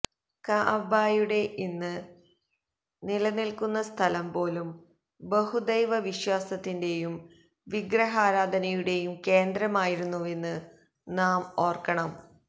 കഅബയുടെ ഇന്ന് നിലനിൽക്കുന്ന സ്ഥലം പോലും ബഹുദൈവ വിശ്വാസത്തിന്റെയും വിഗ്രഹാരാധനയുടെയും കേന്ദ്രമായിരുന്നുവെന്ന് നാം ഓർക്കണം